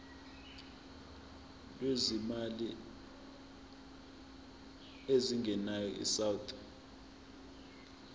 lwezimali ezingenayo isouth